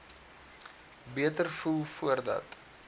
beter voel voordat